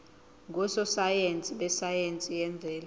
ngososayense besayense yemvelo